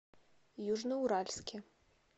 южноуральске